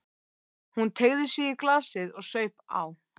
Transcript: Hún teygði sig í glasið og saup á.